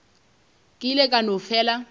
ke ile ka no fela